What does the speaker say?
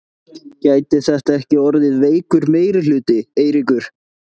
Gæti þetta ekki orðið veikur meirihluti, Eiríkur?